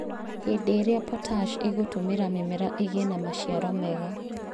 Hĩndĩ ĩrĩa potash ĩgũtũmĩra mĩmera ĩgĩe na maciaro mega